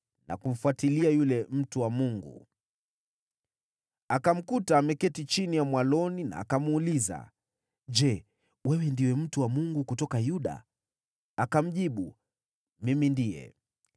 na kumfuatilia yule mtu wa Mungu. Akamkuta ameketi chini ya mwaloni na akamuuliza, “Je, wewe ndiwe mtu wa Mungu kutoka Yuda?” Akamjibu, “Mimi ndiye.”